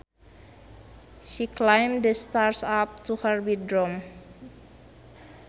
She climbed the stairs up to her bedroom